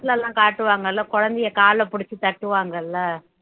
படத்துலலாம் காட்டுவாங்கல்ல குழந்தையை கால பிடிச்சு தட்டுவாங்கல்ல